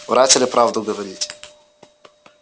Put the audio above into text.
врать или правду говорить